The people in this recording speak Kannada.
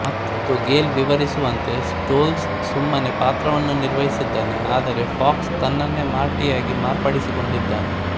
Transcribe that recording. ಮತ್ತೂ ಗೇಲ್ ವಿವರಿಸುವಂತೆ ಸ್ಟೋಲ್ಝ್ ಸುಮ್ಮನೆ ಪಾತ್ರವನ್ನು ನಿರ್ವಹಿಸಿದ್ದಾನೆ ಆದರೆ ಫಾಕ್ಸ್ ತನ್ನನ್ನೇ ಮಾರ್ಟಿಯಾಗಿ ಮಾರ್ಪಡಿಸಿಕೊಂಡಿದ್ದಾನೆ